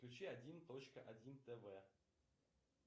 включи один точка один тв